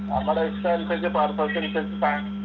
നമ്മുടെ ഇഷ്ടം അനുസരിച്ച് purpose അനുസരിച്ചിട്ടാണ്